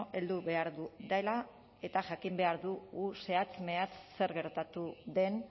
heldu behar dela eta jakin behar dugu zehatz mehatz zer gertatu den